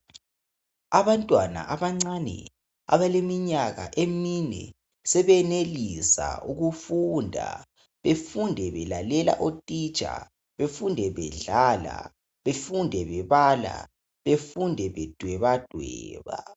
Abancane abaleminyaka emine sebenelisa ukufundaBefunde belalela utitsha. befunde bedlala, befunde bebala, befunde bedwebadweba.